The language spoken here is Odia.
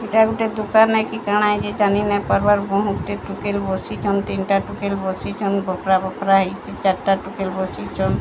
ଏଇଟା ଗୁଟେ ଦୁକାନେ କି କାଣା ଇଏ ଜାନି ନାଇ ପାରୁ ବାର ବୋହୁତ ଗୁଟେ ଟୁକେଲ୍ ବସିଛନ୍ତି ତିନ୍ଟା ଟୁକେଲ୍ ବସିଛନ୍ ବକ୍ରା ବକ୍ରା ହେଇଚି ଚାର୍ଟା ଟୁକେଲ୍ ବସିଛନ।